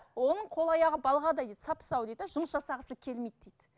оның қол аяғы балғадай дейді сап сау дейді де жұмыс жасағысы келмейді дейді